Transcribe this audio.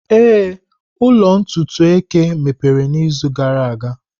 Ee, ụlọ ntutu eke mepere izu gara aga.